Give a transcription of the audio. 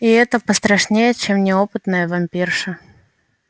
и это пострашнее чем неопытная вампирша